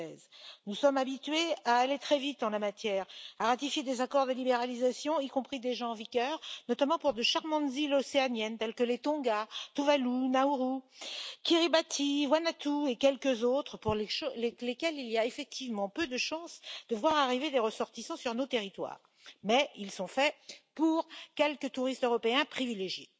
2016. Nous sommes habitués à aller très vite en la matière, à ratifier des accords de libéralisation, y compris déjà en vigueur, notamment pour de charmantes îles océaniennes, telles que les îles Tonga, Tuvalu, Nauru, Kiribati, Vanuatu et quelques autres, pour lesquelles il y a effectivement peu de chance de voir arriver des ressortissants sur nos territoires, mais ils sont élaborés pour quelques touristes européens privilégiés.